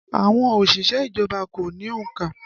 Àwọn òṣìṣẹ́ ìjọba kò ní òǹkà